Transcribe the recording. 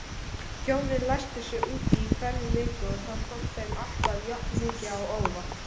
Hjónin læstu sig úti í hverri viku og það kom þeim alltaf jafnmikið á óvart.